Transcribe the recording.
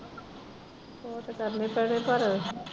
ਉਹ ਤਾਂ ਕਰਨੇੇ ਹੀ ਪੈਣੇ ਪਰ।